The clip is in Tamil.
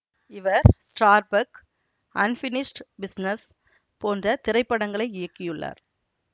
இவர் ஸ்டார்பக் அன்பினிஷ்டு பிசினஸ் போன்ற திரைப்படங்களை இயக்கியுள்ளார்